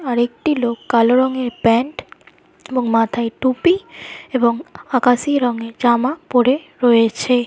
আরেকটি লোক কালো রঙের প্যান্ট এবং মাথায় টুপি এবং আকাশি রঙের জামা পরে রয়েছে।